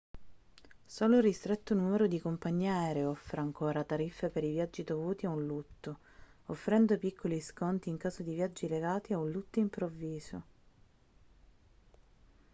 solo un ristretto numero di compagnie aeree offre ancora tariffe per i viaggi dovuti a un lutto offrendo piccoli sconti in caso di viaggi legati a un lutto improvviso